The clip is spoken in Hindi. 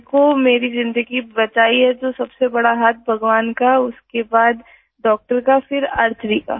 मेरे को मेरी ज़िन्दगी बचाई है तो सबसे बड़ा हाथ भगवान का उसके बाद डॉक्टर का फिर आर्चरी का